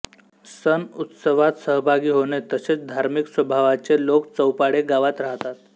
सण उत्सवात सहभागी होणे तसेच धार्मीक स्वभावाचे लोक चौपाळे गावात राहतात